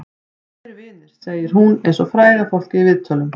Þau eru vinir, segir hún eins og fræga fólkið í viðtölum.